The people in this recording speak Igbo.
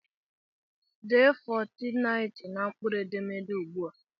Dee 1490 na mkpụrụ edemede ugbu!